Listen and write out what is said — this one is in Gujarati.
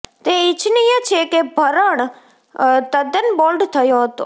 તે ઇચ્છનીય છે કે ભરણ તદ્દન બોલ્ડ થયો હતો